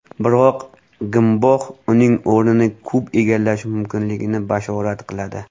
Biroq Gmbox uning o‘rnini kub egallashi mumkinligini bashorat qiladi.